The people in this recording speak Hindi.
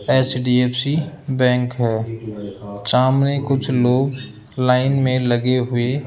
एच_डी_एफ_सी बैंक है सामने कुछ लोग लाइन में लगे हुए --